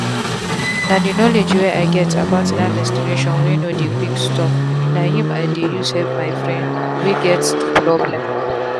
na the knowledge wey i get about that menstruation wey no dey quick stopna him i dey use help my friend wey get the problem.